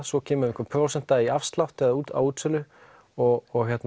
svo kemur einhver prósenta í afslátt á útsölu og